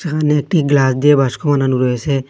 এখানে একটি গ্লাস দিয়ে বাস্কো বানানো রয়েসে।